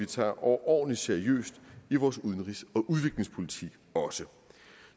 tager overordentlig seriøst i vores udenrigs og udviklingspolitik